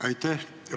Aitäh!